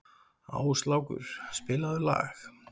Áslákur, spilaðu lag.